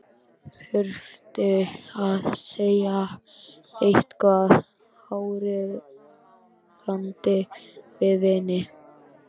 Þurfti að segja eitthvað áríðandi við vininn.